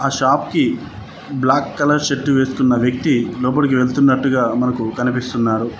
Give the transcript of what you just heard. Shop కి black colour shirt వేసుకున్న వ్యక్తి లోపలికి వెళ్తున్నట్టుగా మనకు కనిపిస్తున్నాడు.